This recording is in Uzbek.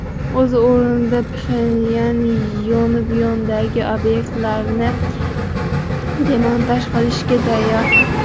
O‘z o‘rnida Pxenyan Yonbyondagi obyektlarni demontaj qilishga tayyor.